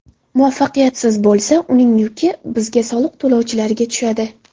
Muvaffaqiyatsiz bo‘lsa, uning yuki bizga soliq to‘lovchilarga tushadi.